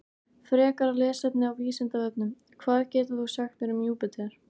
Frekara lesefni á Vísindavefnum: Hvað getur þú sagt mér um Júpíter?